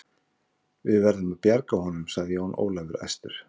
Við verðum að bjarga honum, sagði Jón Ólafur æstur.